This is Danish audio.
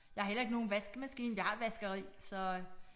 Jeg har heller ikke nogen vaskemaskine vi har et vaskeri så øh